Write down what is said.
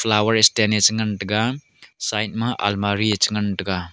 flower stand a chi ngan tega side ma almari a chi ngan taiga.